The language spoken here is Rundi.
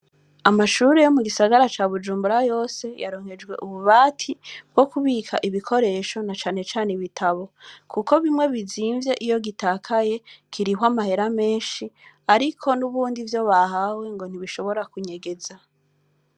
Amashure yo mu gisagara ca Bujumbura yose, yaronkejwe ububati bwo kubika ibikoresho, na cane cane ibitabo; kuko bimwe bizimvye, iyo gitakaye, kirihwa amahera menshi, ariko n’ubundi ivyo bahawe ngo ntibishobora kunyegeza.